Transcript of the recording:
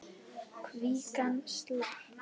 Kvígan slapp.